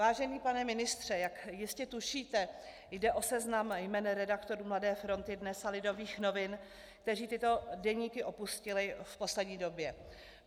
Vážený pane ministře, jak jistě tušíte, jde o seznam jmen redaktorů Mladé fronty DNES a Lidových novin, kteří tyto deníky opustili v poslední době.